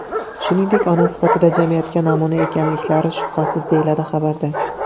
Shuningdek, ona sifatida jamiyatga namuna ekanliklari shubhasiz, deyiladi xabarda.